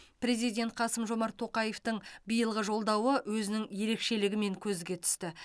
президент қасым жомарт тоқаевтың биылғы жолдауы өзінің ерекшелігімен көзге түсті